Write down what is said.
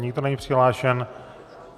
Nikdo není přihlášen.